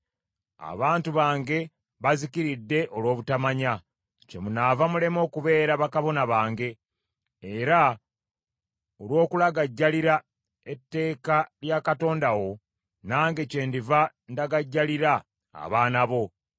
Abantu bange bazikiridde olw’obutamanya. “Kyemunaava mulema okubeera bakabona bange; era olw’okulagajjalira etteeka lya Katonda wo, nange kyendiva ndagajjalira abaana bo.